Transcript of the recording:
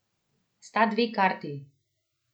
Sta dve karti!